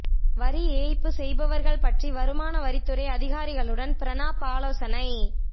வரி ஏய்ப்பு செய்பவர்கள் பற்றி வருமான வரித்துறை அதிகாரிகளுடன் பிரணாப் ஆலோசனை